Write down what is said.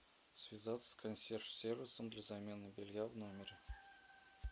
связаться с консьерж сервисом для замены белья в номере